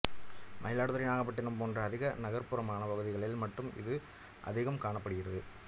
மயிலாடுதுறை நாகப்பட்டிணம் போன்ற அதிக நகர்ப்புறமான பகுதிகளில் மட்டும் இது அதிகம் காணப்படுகிறது